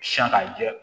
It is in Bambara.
Siyan ka jɛ